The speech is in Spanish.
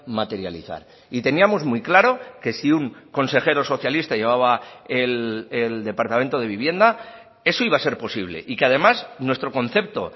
materializar y teníamos muy claro que si un consejero socialista llevaba el departamento de vivienda eso iba a ser posible y que además nuestro concepto